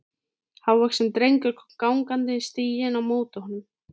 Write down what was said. Hávaxinn drengur kom gangandi stíginn á móti honum.